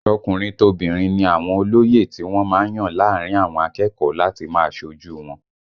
Tọkùnrin tobìnrin ni àwọn olóyè tí wọ́n má ń yàn láàrin àwọn akẹ́kọ̀ọ́ láti máa ṣojú u wọn